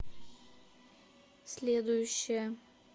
следующая